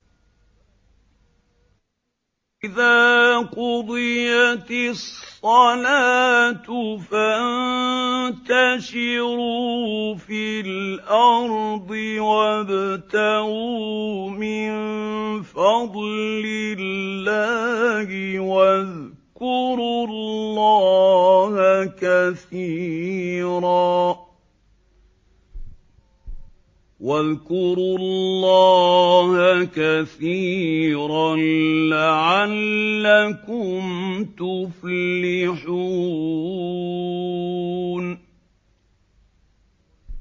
فَإِذَا قُضِيَتِ الصَّلَاةُ فَانتَشِرُوا فِي الْأَرْضِ وَابْتَغُوا مِن فَضْلِ اللَّهِ وَاذْكُرُوا اللَّهَ كَثِيرًا لَّعَلَّكُمْ تُفْلِحُونَ